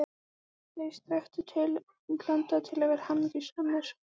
ÞEIR strekktu til útlanda til að vera hamingjusamir.